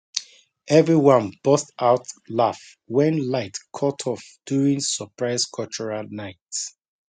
everyone burst out laugh when light cut off during surprise cultural night